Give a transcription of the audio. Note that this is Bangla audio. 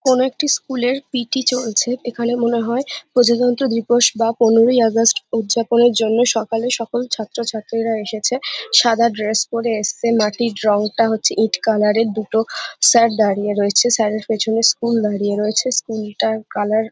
কোনো একটি স্কুল -এর পি .টি. চলছে। এখানে মনে হয় প্রজাতন্ত্র দিবস বা পনেরোই আগস্ট উজ্জাপনের জন্য সকালে সকল ছাত্র ছাত্রীরা এসেছে । সাদা ড্রেস পরে এসছে মাটির রংটা হচ্ছে ইট কালার -এর দুটো স্যার দাঁড়িয়ে রয়েছে স্যার -এর পিছনে স্কুল দাঁড়িয়ে রয়েছে স্কুল -টার কালার ।